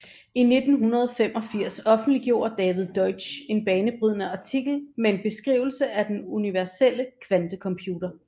I 1985 offentliggjorde David Deutsch en banebrydende artikel med en beskrivelse af den universelle kvantecomputer